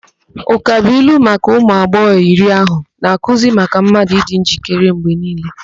Ụkabụilu maka ụmụ agbọghọ iri ahụ na-akụzi maka mmadụ ịdị njikere mgbe niile.